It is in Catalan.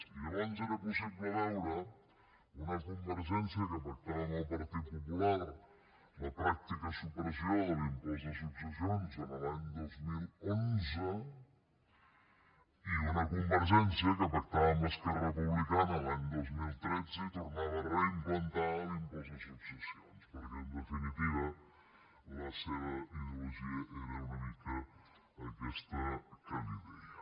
i llavors era possible veure una convergència que pactava amb el partit popular la pràctica supressió de l’impost de successions l’any dos mil onze i una convergència que pactava amb esquerra republicana l’any dos mil tretze i tornava a reimplantar l’impost de successions perquè en definitiva la seva ideologia era una mica aquesta que li deia